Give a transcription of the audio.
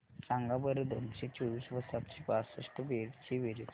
सांगा बरं दोनशे चोवीस व सातशे बासष्ट ची बेरीज